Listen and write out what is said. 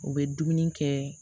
U bɛ dumuni kɛ